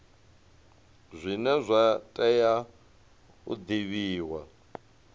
zwine zwa tea u divhiwa